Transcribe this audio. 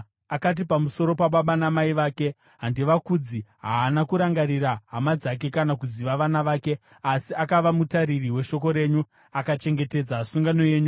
Akati pamusoro pababa namai vake, ‘Handivakudzi.’ Haana kurangarira hama dzake kana kuziva vana vake, asi akava mutariri weshoko renyu akachengetedza sungano yenyu.